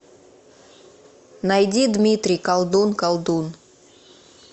найди дмитрий колдун колдун